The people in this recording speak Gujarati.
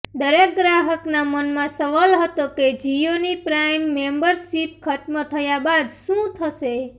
દરેક ગ્રાહકના મનમાં સવાલ હતો કે જિયોની પ્રાઈમ મેમ્બરશિપ ખત્મ થયા બાદ શું થશે